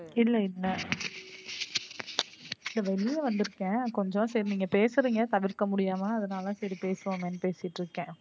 இல்ல இல்ல. வெளிய வந்து இருக்கேன் கொஞ்சம் சரி நீங்க பேசறீங்க தவிர்க்க முடியாம அதுனால தான் சரி பேசுவோமே பேசிட்டு இருக்கேன்.